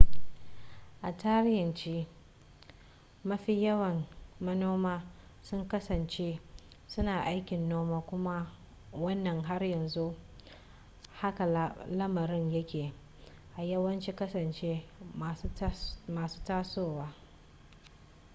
a tarihance mafi yawan manoma sun kasance suna aikin noma kuma wannan har yanzu haka lamarin yake a yawancin ƙasashe masu tasowa